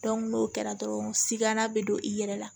n'o kɛra dɔrɔn sigana be don i yɛrɛ la